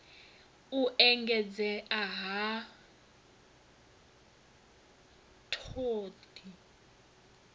u engedzea ha t hod